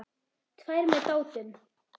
Tvær með Dátum.